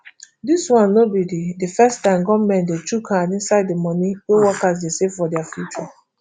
dis no be di di first time goment dey chook hand inside di money wey workers dey save for dia future